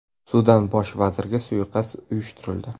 Sudan bosh vaziriga suiqasd uyushtirildi.